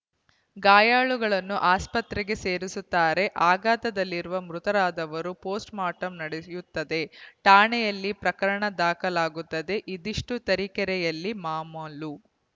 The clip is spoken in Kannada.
ಗಾಯಾಳುಗಳನ್ನು ಆಸ್ಪತ್ರೆಗೆ ಸೇರಿಸುತ್ತಾರೆ ಆಘಾತದಲ್ಲಿ ಮೃತರಾದವರ ಪೋಸ್ಟ್‌ಮಾರ್ಟಂ ನಡೆಯುತ್ತದೆ ಠಾಣೆಯಲ್ಲಿ ಪ್ರಕರಣ ದಾಖಲಾಗುತ್ತದೆ ಇದಿಷ್ಟು ತರೀಕೆರೆಯಲ್ಲಿ ಮಾಮಾಲು